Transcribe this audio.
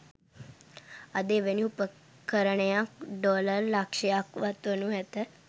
අද එවැනි උපකරණයක් ඩොලර් ලක්‍ෂයක්වත් වනු ඇත